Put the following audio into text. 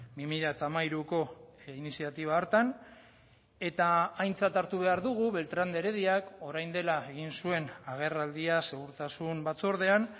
bi mila hamairuko iniziatiba hartan eta aintzat hartu behar dugu beltran de herediak orain dela egin zuen agerraldia segurtasun batzordean